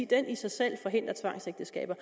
den i sig selv forhindrer tvangsægteskaber